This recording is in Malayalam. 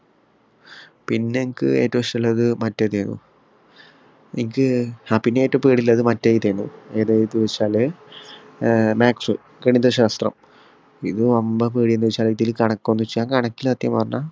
പിന്നെ അനക്ക് ഏറ്റവും ഇഷ്ടോള്ളത് മറ്റേതേനും ഇൻക് ഏർ ആ പിന്നെ ഏറ്റവും പേടി ഇള്ളത് മറ്റേ ഇതെന്നും ഏതാ ഏതാന്നു വെച്ചാല് ഏർ maths ഗണിതശാസ്ത്രം ഇത് വമ്പൻ പേടിന്ന് വെച്ചാല് ഇതില് കണക്കൊന്ന് വെച്ചാ ഞാൻ കണക്കില് സത്യം പറഞ്ഞാ